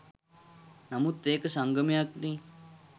නමුත් ඒක සංගමයක්නේ.